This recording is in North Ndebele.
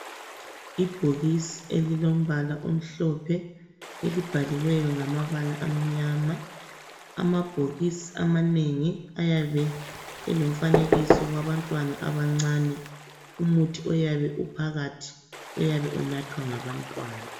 Ibhokisi elilombala omhlophe elibhaliweyo ngamabala amnyama. Amabhokisi amanengi ayabe elomfanekiso wabantwana abancane. Umuthi oyabe uphakathi uyabe unathwa ngabantwana.